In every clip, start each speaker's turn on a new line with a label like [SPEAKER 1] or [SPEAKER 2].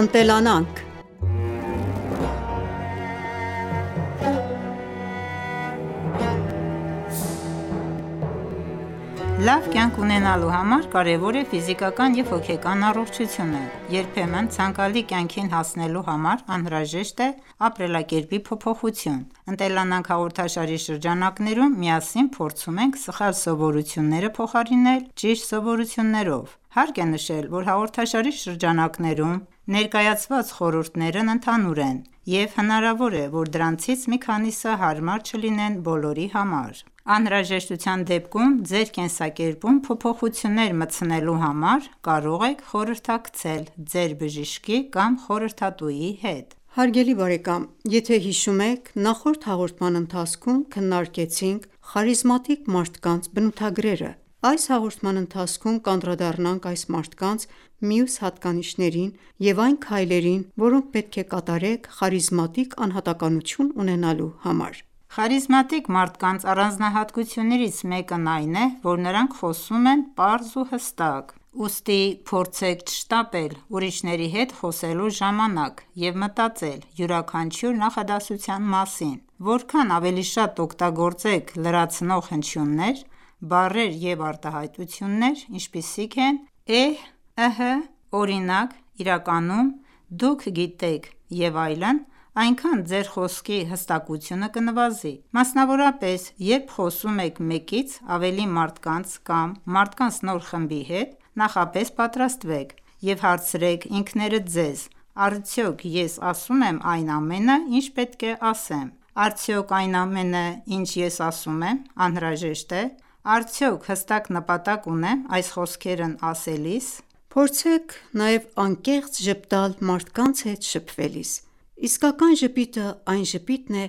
[SPEAKER 1] Ընտելանանք
[SPEAKER 2] Լավ կյանք ունենալու համար կարևոր է ֆիզիկական և հոգեկան առողջությունը։ Երբեմն ցանկալի կյանքին հասնելու համար անհրաժեշտ է ապրելակերպի փոփոխություն։ «Ընտելանանք» հաղորդաշարի շրջանակներում միասին փորձում ենք սխալ սովորությունները փոխարինել ճիշտ սովորություններով: Հարկ է նշել, որ հաղորդաշարի շրջանակներում ներկայացված խորհուրդներն ընդհանուր են, և հնարավոր է, որ դրանցից մի քանիսը հարմար չլինեն բոլորի համար: Անհրաժեշտության դեպքում ձեր կենսակերպում փոփոխություններ մտցնելու համար կարող եք խորհրդակցել ձեր բժշկի կամ խորհրդատուի հետ:
[SPEAKER 1] Ողջույն Ձեզ սիրելի բարեկամներ, եթե հիշում եք նախորդ հաղորդման ընթացքում քննարկեցինք խարիզմատիկ մարդկանց բնութագրերը: Այս հաղորդման ընթացքում կանդրադառնանք այս մարդկանց մյուս հատկանիշներին և այն քայլերին, որոնք պետք է կատարեք խարիզմատիկ անհատականություն ունենալու համար:
[SPEAKER 2] Խարիզմատիկ մարդկանց առանձնահատկություններից մեկն այն է, որ նրանք խոսում են պարզ ու հստակ ։Ուստի փորձեք չշտապել ուրիշների հետ խոսելու ժամանակ և մտածել յուրաքանչյուր նախադասության մասին: Որքան ավելի շատ օգտագործեք լրացնող հնչյուններ, բառեր և արտահայտություններ, ինչպիսիք են էհ, ըհը, օրինակ, իրականում, դուք գիտեք և այլն, այնքան ձեր խոսքի հստակությունը կնվազի: Մասնավորապես, երբ խոսում եք մեկից ավելի մարդկանց կամ մարդկանց նոր խմբի հետ ,նախապես պատրաստվեք: Եվ հարցրեք ինքներդ ձեզ, արդյո՞ք ես ասում եմ այն ամենը, ինչ պետք է ասեմ: Արդյո՞ք այն ամենը, ինչ ես ասում եմ, անհրաժեշտ է: Արդյո՞ք հստակ նպատակ ունեմ այս խոսքերն ասելիս:
[SPEAKER 1] Փորձեք նաև անկեղծ ժպտալ մարդկանց հետ շփվելիս: Իսկական ժպիտը այն ժպիտն է,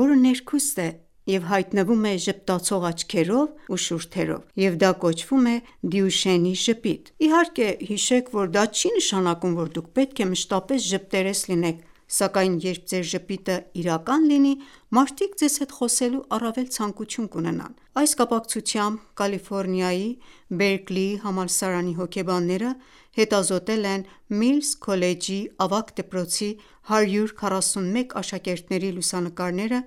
[SPEAKER 1] որը ներքուստ է և հայտնվում է ժպտացող աչքերով ու շուրթերով, և դա կոչվում է Դյուշենի ժպիտ։ Իհարկե, հիշեք, որ դա չի նշանակում, որ դուք պետք է մշտապես ժպտերես լինեք, սակայն երբ ձեր ժպիտը իրական լինի ,մարդիկ ձեզ հետ խոսելու առավել ցանկություն կունենան: Այս կապակցությամբ ,Կալիֆորնիայի Բերկլիի համալսարանի հոգեբանները հետազոտել են Միլս քոլեջի ավագ դպրոցի 141աշակերտների լուսանկարները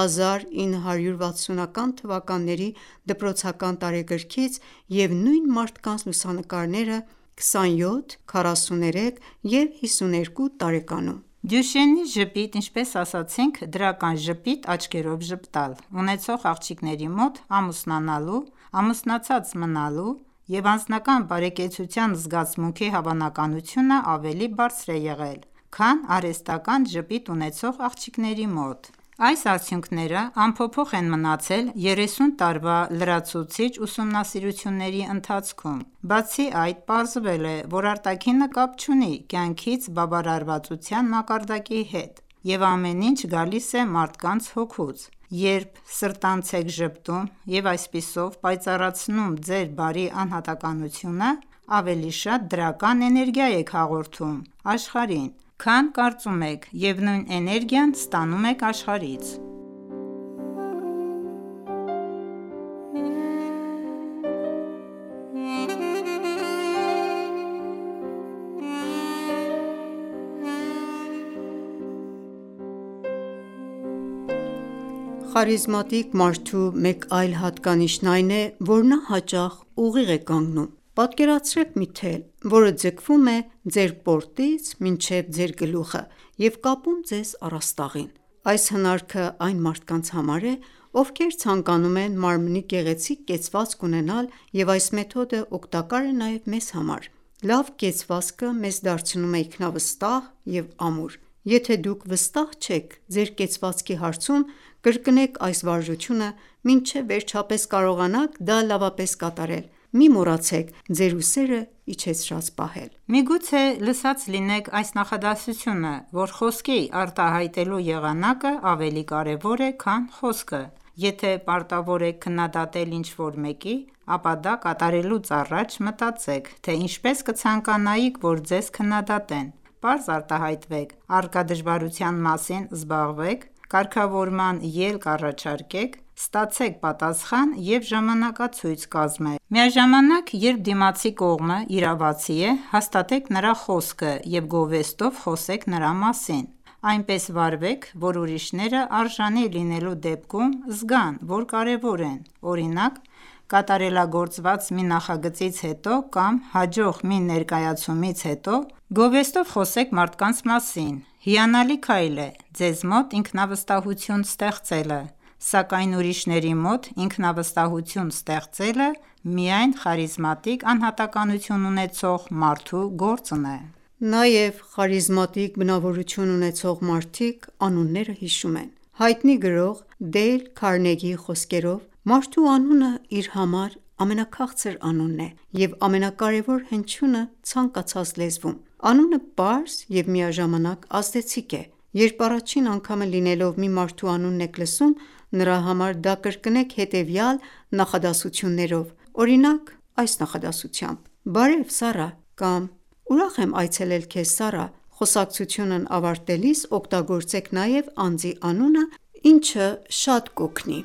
[SPEAKER 1] 1960-թվականի դպրոցական տարեգրքից և նույն մարդկանց լուսանկարները 27, 43 և 52 տարեկանում:
[SPEAKER 2] Դյուշենի ժպիտ(դրական ժպիտ՝ աչքերով ժպտալ) ունեցող աղջիկների մոտ ամուսնանալու, ամուսնացած մնալու և անձնական բարեկեցության զգացմունքի հավանականությունն ավելի բարձր է եղել, քան արհեստական ժպիտ ունեցող աղջիկների մոտ։ Այս արդյունքները անփոփոխ են մնացել երեսուն տարվա լրացուցիչ ուսումնասիրությունների ընթացքում: Բացի այդ, պարզվել է, որ արտաքինը կապ չունի կյանքից բավարարվածության մակարդակի հետ և ամեն ինչ գալիս է մարդկանց հոգուց։ Երբ սրտանց եք ժպտում և այսպիսով պայծառացնում ձեր բարի անհատականությունը, ավելի շատ դրական էներգիա եք հաղորդում աշխարհին, քան կարծում եք, և նույն էներգիան ստանում եք աշխարհից։
[SPEAKER 1] Խարիզմատիկ մարդու մեկ այլ հատկանիշն այն է, որ նա հաճախ ուղիղ է կանգնում: Պատկերացրեք մի թել, որը ձգվում է ձեր պորտից մինչև ձեր գլուխը և կապում ձեզ առաստաղին: Այս հնարքը այն մարդկանց համար է, ովքեր ցանկանում են մարմնի գեղեցիկ կեցվածք ունենալ, և այս մեթոդը օգտակար է նաև մեզ համար։ Լավ կեցվածքը մեզ դարձնում է ինքնավստահ և ամուր: Եթե դուք վստահ չեք ձեր կեցվածքի հարցում, կրկնեք այս վարժությունը, մինչև վերջապես կարողանաք դա լավապես կատարել: Մի մոռացեք ձեր ուսերը իջեցրած պահել:
[SPEAKER 2] Միգուցե լսած լինեք այս նախադասությունը, որ «խոսքի արտահայտելու եղանակը ավելի կարևոր է քան խոսքը»: Եթե պարտավոր եք քննադատել ինչ-որ մեկի, ապա դա կատարելուց առաջ մտածեք, թե ինչպես կցանկանայիք, որ ձեզ քննադատեն:Պարզ արտահայտվեք, առկա դժվարության մասին զբաղվեք, կարգավորման ելք առաջարկեք, ստացեք պատասխան և ժամանակացույց կազմեք: Միաժամանակ երբ դիմացի կողմը իրավացի է ,հաստատեք նրա խոսքը և գովեստով խոսեք նրա մասին: Այնպես վարվեք ,որ ուրիշները արժանի լինելու դեպքում ,զգան որ կարևոր են ,օրինակ կատարելագործված մի նախագծից հետո, կամ հաջող մի ներկայացումից հետո ,գովեստով խոսեք մարդկանց մասին: Հիանալի քայլ է ձեզ մոտ ինքնավստահություն ստեղծելը ,սակայն ուրիշների մոտ ինքնավստահություն ստեղծելը, միայն խարիզմատիկ անհատականություն ունեցող
[SPEAKER 1] մարդու գործն է: Նաև խարիզմատիկ բնավորություն ունեցող մարդիկ անունները հիշում են: Հայտնի գրող Դեյլ Քարնեգիի խոսքերով՝ «Մարդու անունը իր համար ամենաքաղցր անունն է և ամենակարևոր հնչյունը ցանկացած լեզվում։ Անունը պարզ և միաժամանակ ազդեցիկ է: Երբ առաջին անգամը լինելով մի մարդու անունն եք լսում ,նրա համար դա կրկնեք հետևյալ նախադասություններով, օրինակ, այս նախադասությամբ՝«բարև Սառա», կամ «Ուրախ եմ այցելել քեզ Սառա»: Խոսակցությունն ավարտելիս օգտագործեք նաև անձի անունը, ինչը շատ կօգնի: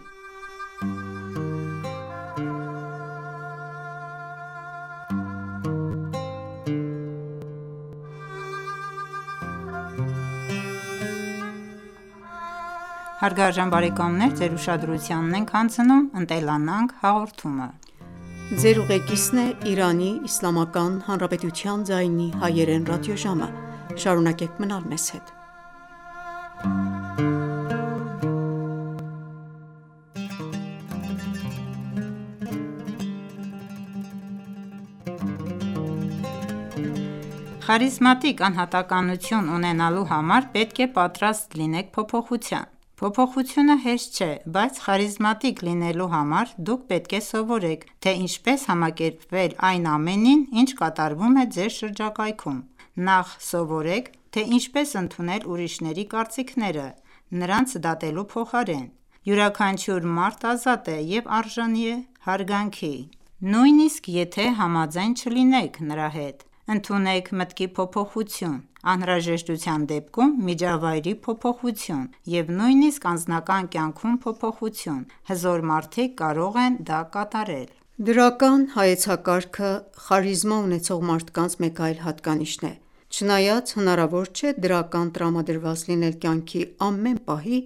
[SPEAKER 2] Խարիզմատիկ անհատականություն ունենալու համար պետք է պատրաստ լինեք փոփոխության: Փոփոխությունը հեշտ չէ, բայց խարիզմատիկ լինելու համար դուք պետք է սովորեք, թե ինչպես համակերպվել այն ամենին, ինչ կատարվում է ձեր շրջակայքում: Նախ սովորեք, թե ինչպես ընդունել ուրիշների կարծիքները՝ նրանց դատելու փոխարեն: Յուրաքանչյուր մարդ ազատ է և արժանի է հարգանքի, նույնիսկ եթե համաձայն չլինեք նրա հետ։ Ընդունեք մտքի փոփոխություն, անհրաժեշտության դեպքում միջավայրի փոփոխություն և նույնիսկ անձնական կյանքում փոփոխություն: Հզոր մարդիկ կարող են դա կատարել:
[SPEAKER 1] Դրական հայեցակարգը խարիզմա ունեցող մարդկանց մեկ այլ հատկանիշն է: Չնայած հնարավոր չէ դրական տրամադրված լինել կյանքի ամեն պահի,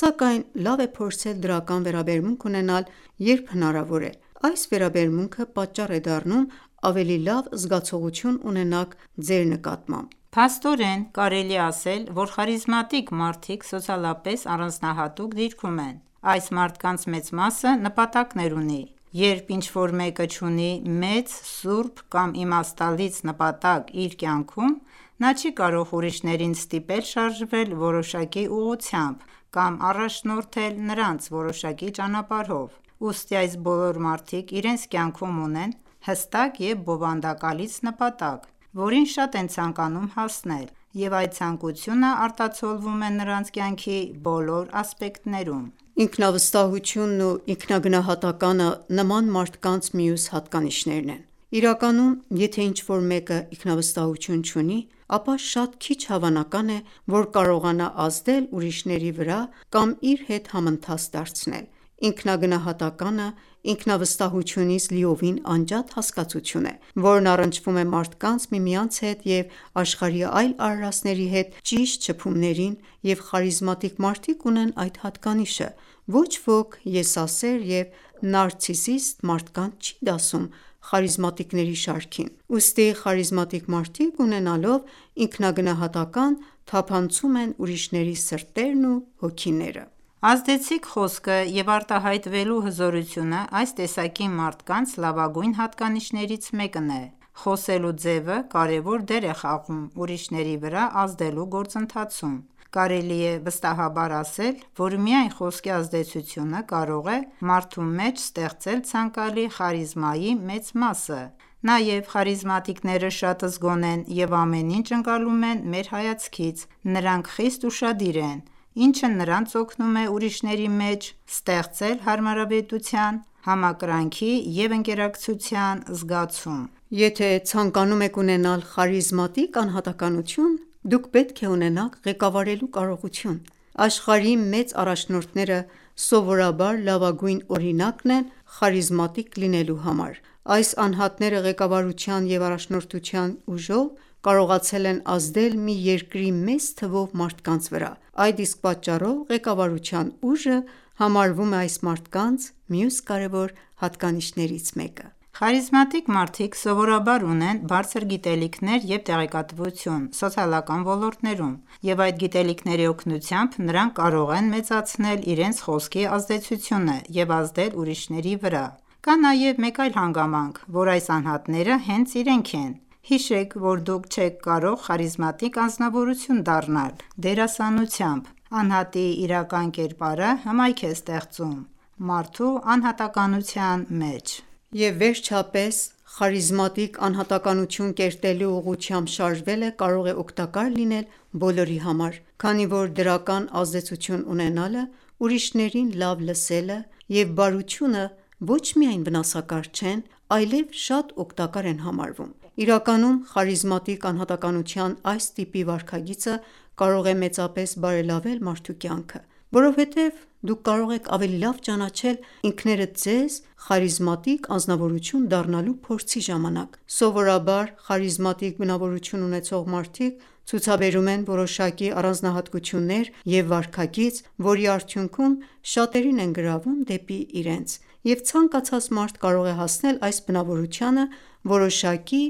[SPEAKER 1] սակայն լավ է փորձել դրական վերաբերմունք ունենալ, երբ հնարավոր է: Այս վերաբերմունքը պատճառ է դառնում ավելի լավ զգացողություն ունենաք ձեր նկատմամբ:
[SPEAKER 2] Փաստորեն, կարելի է ասել, որ խարիզմատիկ մարդիկ սոցիալապես առանձնահատուկ դիրքում են: Այս մարդկանց մեծ մասը նպատակներ ունի: Երբ ինչ-որ մեկը չունի մեծ, սուրբ կամ իմաստալից նպատակ իր կյանքում, նա չի կարող ուրիշներին ստիպել շարժվել որոշակի ուղղությամբ կամ առաջնորդել նրանց որոշակի ճանապարհով: Ուստի այս բոլոր մարդիկ իրենց կյանքում ունեն հստակ և բովանդակալից նպատակ, որին շատ են ցանկանում հասնել, և այդ ցանկությունը արտացոլվում է նրանց կյանքի բոլոր ասպեկտներում:
[SPEAKER 1] Ինքնավստահությունն ու ինքնագնահատականը նման մարդկանց մյուս հատկանիշներն են: Իրականում, եթե ինչ-որ մեկը ինքնավստահություն չունի, ապա շատ քիչ հավանական է, որ կարողանա ազդել ուրիշների վրա կամ իր հետ համընթաց դարձնել: Ինքնագնահատականը, ինքնավստահությունից լիովին անջատ հասկացություն է, որն առնչվում է մարդկանց միմյանց հետ և աշխարհի այլ արարածների հետ ճիշտ շփումներին, և խարիզմատիկ մարդիկ ունեն այդ հատկանիշը։ Ոչ ոք եսասեր և նարցիսիստ մարդկանց չի դասում խարիզմատիկների շարքին: Ուստի խարիզմատիկ մարդիկ, ունենալով ինքնագնահատական, թափանցում են ուրիշների սրտերն ու հոգիները։
[SPEAKER 2] Ազդեցիկ խոսքը և արտահայտվելու հզորությունը այս տեսակի մարդկանց լավագույն հատկանիշներից մեկն է: Խոսելու ձևը կարևոր դեր է խաղում ուրիշների վրա ազդելու գործընթացում: Կարելի է վստահաբար ասել, որ միայն խոսքի ազդեցությունը կարող է մարդու մեջ ստեղծել ցանկալի խարիզմայի մեծ մասը։ Նաև խարիզմատիկները շատ զգոն են և ամեն ինչ ընկալում են մեր հայացքից ։Նրանք խիստ ուշադիր են, ինչը նրանց օգնում է ուրիշների մեջ ստեղծել հարմարավետության,
[SPEAKER 1] համակրանքի և ընկերակցության զգացում։ Եթե ցանկանում եք ունենալ խարիզմատիկ անհատականություն, դուք պետք է ունենաք ղեկավարելու կարողություն: Աշխարհի մեծ առաջնորդները սովորաբար լավագույն օրինակն են խարիզմատիկ լինելու համար: Այս անհատները ղեկավարության և առաջնորդության ուժով, կարողացել են ազդել մի երկրի մեծ թվով մարդկանց վրա: Այդ իսկ պատճառով ղեկավարության ուժը համարվում է այս մարդկանց մյուս կարևոր հատկանիշներից մեկը։
[SPEAKER 2] Խարիզմատիկ մարդիկ սովորաբար ունեն բարձր գիտելիքներ և տեղեկատվություն ՝սոցիալական ոլորտներում, և այդ գիտելիքների օգնությամբ նրանք կարող են մեծացնել իրենց խոսքի ազդեցությունը և ազդել ուրիշների վրա։ Կա նաև մեկ այլ հանգամանք, որ այս անհատները հենց իրենք են: Հիշեք, որ դուք չեք կարող խարիզմատիկ անձնավորություն դառնալ՝դերասանությամբ: Անհատի իրական կերպարը, հմայք է ստեղծում մարդու անհատականության
[SPEAKER 1] մեջ: Եվ վերջապես, խարիզմատիկ անհատականություն կերտելու ուղղությամբ շարժվելը կարող է օգտակար լինել բոլորի համար, քանի որ դրական ազդեցություն ունենալը, ուրիշներին լավ լսելը և բարությունը ոչ միայն վնասակար չեն, այլև շատ օգտակար են համարվում: Իրականում խարիզմատիկ անհատականության այս տիպի վարքագիծը կարող է մեծապես բարելավել մարդու կյանքը: Որովհետև դուք կարող եք ավելի լավ ճանաչել ինքներդ ձեզ խարիզմատիկ անձնավորություն դառնալու փորձի ժամանակ: Սովորաբար խարիզմատիկ բնավորություն ունեցող մարդիկ ցուցաբերում են որոշակի առանձնահատկություններ և վարքագիծ, որի արդյունքում շատերին են գրավում դեպի իրենց: Եվ ցանկացած մարդ կարող է հասնել այս բնավորությանը որոշակի